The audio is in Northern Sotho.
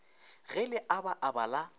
ge le aba aba la